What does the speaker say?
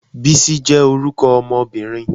Bisi je orúkọ ọmọbirin